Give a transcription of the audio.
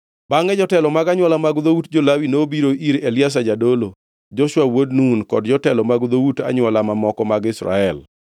Bangʼe jotelo mag anywola mag dhout jo-Lawi nobiro ir Eliazar jadolo, Joshua wuod Nun, kod jotelo mag dhout anywola mamoko mag Israel,